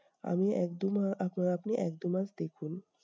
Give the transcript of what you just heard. আমি এক দুমা আপনা আপনি এক দুমাস দেখুন।